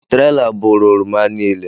Traila bụrụ oroma niile